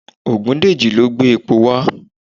Ògúndèjì ló gbé epo wá